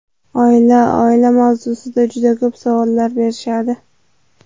Oila Oila mavzusida juda ko‘p savollar berishadi.